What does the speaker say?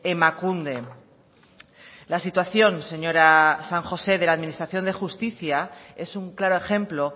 emakunde la situación señora san josé de la administración de justicia es un claro ejemplo